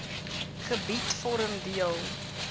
gebied vorm deel